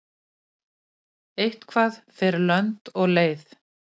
Eitthvað fer lönd og leið